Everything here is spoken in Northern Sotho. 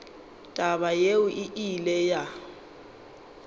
taba yeo e ile ya